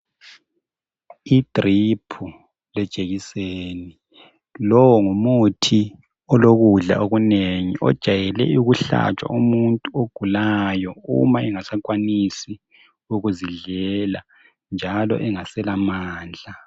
Lowo ngumuthi olokudla okunengi ojayele ukuhlatshwa umuntu ogulayo uma engasakwanisi ukuzidlela njalo engaselamandla.